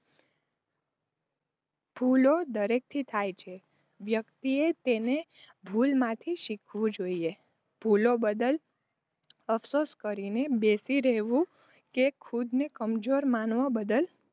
ભૂલો દરેકથી થાય છે. વ્યક્તિ તેને ભૂલમાંથી શીખવું જોઇયે, ભૂલો બદલ અફસોસ કરીને બેસી રહેવું, કે ખુદને કમજોર માનવા બદલ,